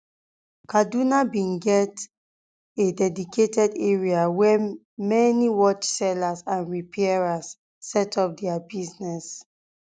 kaduna bin get um a dedicated um area area where many watchsellers and repairers set up their businesses